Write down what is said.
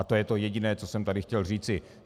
A to je to jediné, co jsem tady chtěl říci.